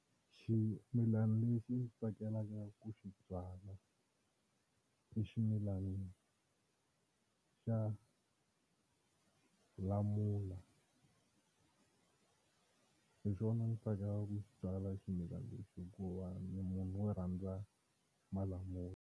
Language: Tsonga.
Ximilana lexi ndzi tsakelaka ku xi byala i ximilana xa lamula hi xona ndzi tsakela ku xi byala ximilana lexi hikuva ni munhu wo rhandza malamula.